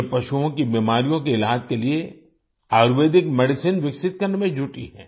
यह पशुओं की बिमारियों के इलाज के लिए आयुर्वेदिक मेडिसिन्स विकसित करने में जुटी है